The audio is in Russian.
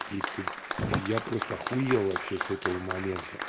какие ты я просто ахуел вообще с этого момента